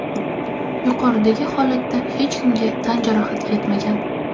Yuqoridagi holatda hech kimga tan jarohati yetmagan.